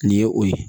Nin ye o ye